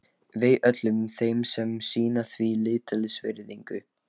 Vei öllum þeim sem sýna því lítilsvirðingu.